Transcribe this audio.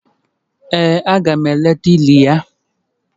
Ee, aga m eleta ili ya